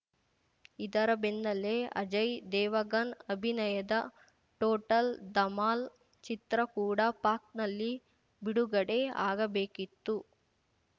ಇದರ ಬೆನ್ನಲ್ಲೇ ಅಜಯ್‌ ದೇವಗನ್‌ ಅಭಿನಯದ ಟೋಟಲ್‌ ಧಮಾಲ್‌ ಚಿತ್ರ ಕೂಡ ಪಾಕ್‌ನಲ್ಲಿ ಬಿಡುಗಡೆ ಆಗಬೇಕಿತ್ತು